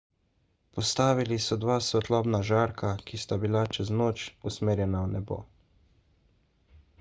postavili so dva svetlobna žarka ki sta bila čez noč usmerjena v nebo